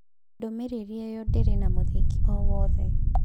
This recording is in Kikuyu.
Ndũmĩrĩri ĩyo ndĩrĩ na mũthingi o wothe.